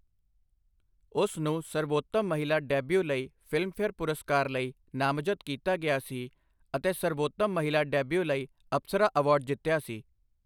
ਉਸ ਨੂੰ ਸਰਬੋਤਮ ਮਹਿਲਾ ਡੈਬਿਊ ਲਈ ਫ਼ਿਲਮਫੇਅਰ ਪੁਰਸਕਾਰ ਲਈ ਨਾਮਜ਼ਦ ਕੀਤਾ ਗਿਆ ਸੀ ਅਤੇ ਸਰਬੋਤਮ ਮਹਿਲਾ ਡੈਬਿਊ ਲਈ ਅਪਸਰਾ ਅਵਾਰਡ ਜਿੱਤਿਆ ਸੀ।